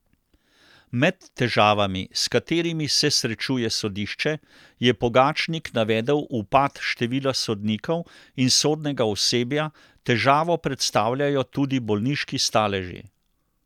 Med težavami, s katerimi se srečuje sodišče, je Pogačnik navedel upad števila sodnikov in sodnega osebja, težavo predstavljajo tudi bolniški staleži.